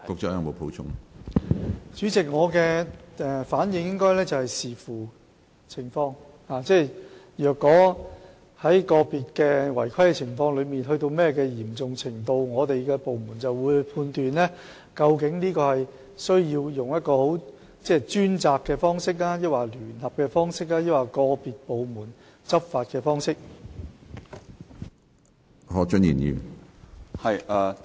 主席，我的答覆是要視乎情況，即如果個別的違規情況達到嚴重程度，我們的部門便會判斷究竟應採用專責小組的方式、聯合的方式，還是由個別部門執法的方式處理。